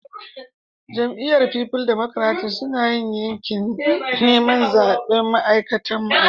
Jami'yyar People Democratic suna yin yakin niman zabe a'makarantan mu yanzu.